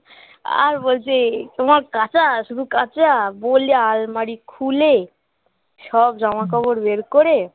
আর বলছে তোমার কাচা শুধু কাচা বলে আলমারি খুলে সব জামাকাপড় বের করে